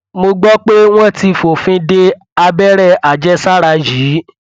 mo gbọ pé wọn ti fòfin de abẹrẹ àjẹsára yìí